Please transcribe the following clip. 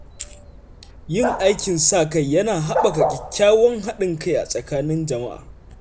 Yin aikin sa-kai yana haɓaka kyakkyawan haɗin kai a tsakanin jama’a.